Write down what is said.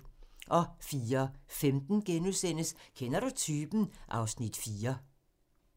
04:15: Kender du typen? (Afs. 4)*